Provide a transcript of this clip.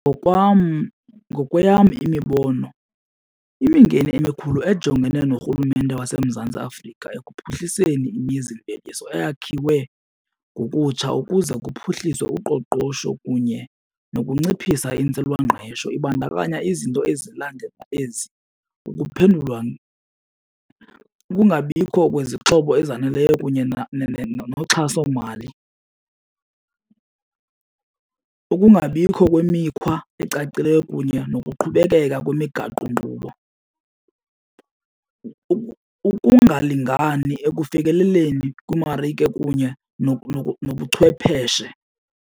Ngokweyam imibono imingeni emikhulu ejongene norhulumente waseMzantsi Afrika ekuphuhliseni imizimveliso eyakhiwe ngokutsha ukuze kuphuhliswe uqoqosho kunye nokunciphisa intswelangqesho, ibandakanya izinto ezilandela ezi. Ukuphendulwa , ukungabikho kwezixhobo ezaneleyo kunye noxhasomali, ukungabikho kwemikhwa ecacileyo kunye nokuqhubekeka kwemigaqonkqubo, ukungalingani ekufikeleleni kwiimarike kunye nobuchwepheshe.